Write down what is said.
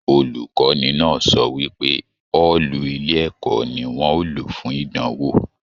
Olukọni náà sọ wípé ọọlú ilé ẹ̀kọ́ ní wọn o ló fún ìdánwò.